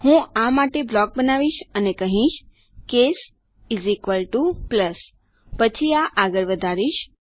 હું આ માટે બ્લોક બનાવીશ અને હું કહીશ કેસ પ્લસ પછી આ આગળ વધારીશ